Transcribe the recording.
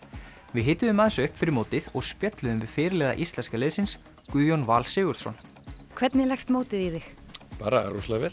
við hituðum aðeins upp fyrir mótið og spjölluðum við fyrirliða íslenska liðsins Guðjón Val Sigurðsson hvernig leggst mótið í þig bara rosalega vel